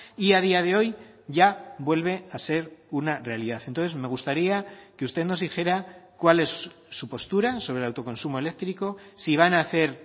y a día de hoy ya vuelve a ser una realidad entonces me gustaría que usted nos dijera cuál es su postura sobre el autoconsumo eléctrico si van a hacer